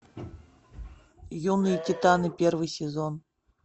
юные титаны первый сезон